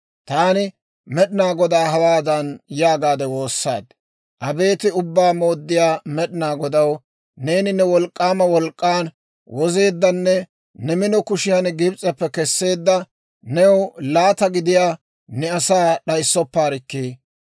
Taani Med'inaa Godaa hawaadan yaagaade woossaad; ‹Abeet Ubbaa Mooddiyaa Med'inaa Godaw, neeni ne wolk'k'aama wolk'k'an wozeeddanne ne mino kushiyan Gibs'eppe Kesseedda, new laata gidiyaa ne asaa d'ayssoppaarikkii!